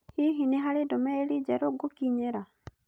Hihi nĩ harĩ ndũmĩrĩri njerũ ngũkinyĩra?